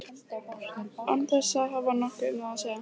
Án þess að hafa nokkuð um það að segja.